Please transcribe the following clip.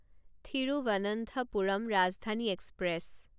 Thiruvananthapuram Rajdhani express